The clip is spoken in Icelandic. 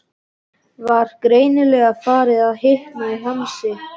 Var greinilega farið að hitna í hamsi.